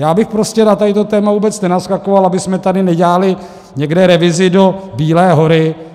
Já bych prostě na toto téma vůbec nenaskakoval, abychom tady nedělali někde revizi do Bílé hory.